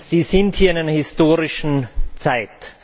Sie sind hier in einer historischen Zeit.